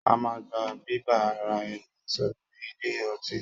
A máa ń gba bíbá ara ẹni sọ̀rọ̀ ni ilé ọtí.